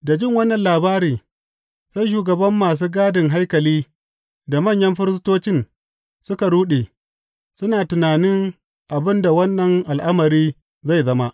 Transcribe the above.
Da jin wannan labari, sai shugaban masu gadin haikali da manyan firistocin suka ruɗe, suna tunanin abin da wannan al’amari zai zama.